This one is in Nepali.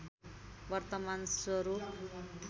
वर्तमान स्वरूप